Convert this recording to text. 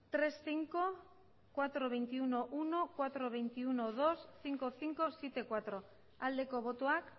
hiru puntu bost lau puntu hogeita bat puntu bat lau puntu hogeita bat puntu bi bost puntu bost zazpi puntu lau aldeko botoak